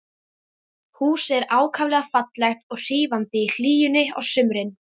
Húsið er ákaflega fallegt og hrífandi í hlýjunni á sumrin.